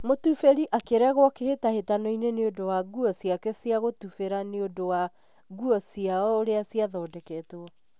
mutubirĩ akĩregwo kĩhĩtahĩtano-inĩ nĩ ũndũ wa nguo ciake cia gutubĩra nĩ ũndu wa nguo ciao uria cia thondeketwo